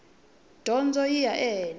dyondzo yi ya ehenhla